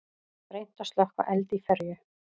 Reynt að slökkva eld í ferju